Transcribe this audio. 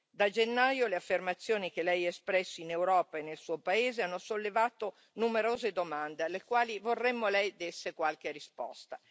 Da gennaio le affermazioni che Lei ha espresso in Europa e nel Suo paese hanno sollevato numerose domande alle quali vorremmo Lei desse qualche risposta.